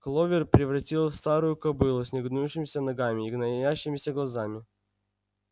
кловер превратилась в старую кобылу с негнущимися ногами и гноящимися глазами